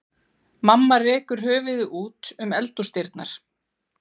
Mamma rekur höfuðið út um eldhúsdyrnar.